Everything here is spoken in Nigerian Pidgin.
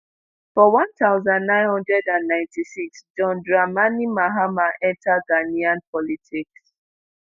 for 1996 john dramani mahama enta ghanaian politics.